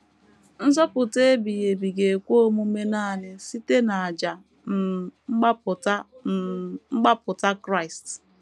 Nzọpụta ebighị ebi ga - ekwe omume nanị site n’àjà um mgbapụta um mgbapụta Kraịst.